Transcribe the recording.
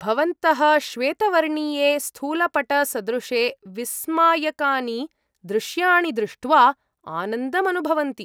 भवन्तः श्वेतवर्णीये स्थूलपटसदृशे विस्मायकानि दृश्याणि दृष्ट्वा आनन्दमनुभवन्ति।